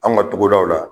An ka togodaw la